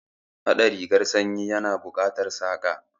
Haɗa rigar sanyi ya na buƙatar Saƙa